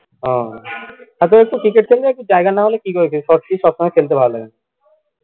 তাতো একটু ক্রিকেট খেললে একটু জায়গা না হলে কিভাবে কি short pitch সবসময় খেলতে ভালো লাগেনা